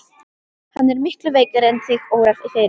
Hann er miklu veikari en þig órar fyrir.